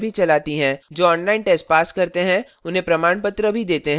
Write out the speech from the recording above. जो online test pass करते हैं उन्हें प्रमाणपत्र भी देते हैं